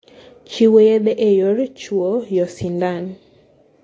chiwo yedhe e yor chwuyosindan.